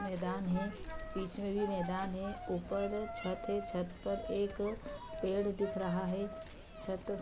मैदान है बीच में भी मैदान है ऊपर छत है छत पर एक पेड़ दिख रहा है छत --